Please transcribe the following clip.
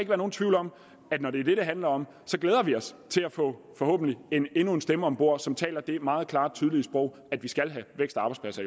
være nogen tvivl om at når det er det det handler om glæder vi os til at få forhåbentlig endnu en stemme om bord som taler det meget klare og tydelige sprog at vi skal have vækst og arbejdspladser